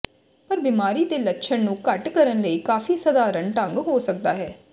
ਪਰ ਬਿਮਾਰੀ ਦੇ ਲੱਛਣ ਨੂੰ ਘੱਟ ਕਰਨ ਲਈ ਕਾਫ਼ੀ ਸਧਾਰਨ ਢੰਗ ਹੋ ਸਕਦਾ ਹੈ